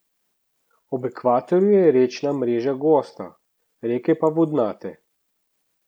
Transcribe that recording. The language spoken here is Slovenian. Ob ekvatorju je rečna mreža gosta, reke pa vodnate.